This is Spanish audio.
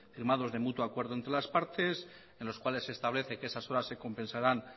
firmados de mutuo acuerdo entre las partes en los cuales se establece que esas horas se compensarán